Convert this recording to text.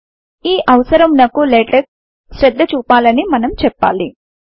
ఈ అవసరము నకు లాటెక్స్ శ్రద్ధ చూపాలని మనం చెప్పాలి